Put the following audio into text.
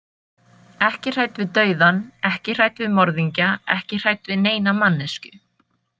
Ekki hrædd við dauðann, ekki hrædd við morðingja, ekki hrædd við neina manneskju.